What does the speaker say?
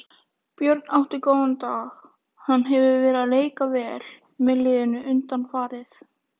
Björn átti góðan dag, hann hefur verið að leika vel með liðinu undanfarið.